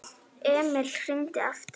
Emil hringdi aftur.